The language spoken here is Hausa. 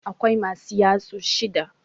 Akwai masu yatsu shida.